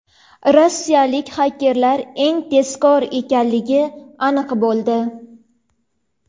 Rossiyalik xakerlar eng tezkor ekanligi aniq bo‘ldi.